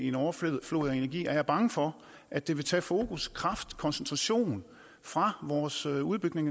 en overflod af energi er jeg bange for at det vil tage fokus kraft og koncentration fra vores udbygning